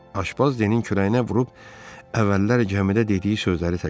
Aşpaz Denin kürəyinə vurub əvvəllər gəmidə dediyi sözləri təkrarladı.